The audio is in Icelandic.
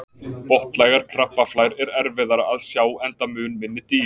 Botnlægar krabbaflær er erfiðara að sjá enda mun minni dýr.